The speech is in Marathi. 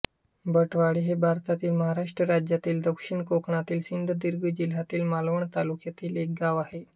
भटवाडी हे भारतातील महाराष्ट्र राज्यातील दक्षिण कोकणातील सिंधुदुर्ग जिल्ह्यातील मालवण तालुक्यातील एक गाव आहे